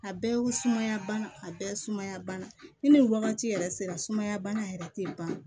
A bɛɛ ye sumaya bana a bɛɛ sumaya bana ni wagati yɛrɛ sera sumaya bana yɛrɛ tɛ ban